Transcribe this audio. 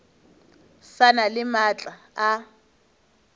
sa na le maatla a